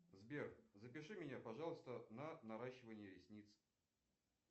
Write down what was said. сбер запиши меня пожалуйста на наращивание ресниц